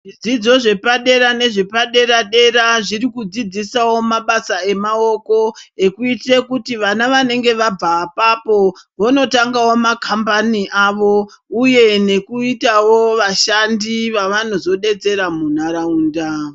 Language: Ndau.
Zvidzidzo zvepa dera nezve padera dera zviri kudzidzisawo mabasa emaoko ekuiitire kuti vana vanenge vabva apapo vono tangawo makambani awo uye neku itawo vashandi vavanozo detsera mu ntaraunda.